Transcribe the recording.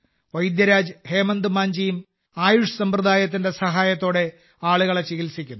വൈദ്യരാജ് ഹേംചന്ദ് മാഞ്ചിയും ആയുഷ് സമ്പ്രദായത്തിന്റെ സഹായത്തോടെ ആളുകളെ ചികിത്സിക്കുന്നു